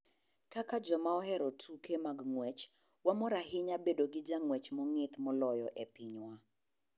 Kaka joma ohero tuke mag ng'wech, wamor ahinya bedo gi jang'wech mong'ith moloyo e pinywa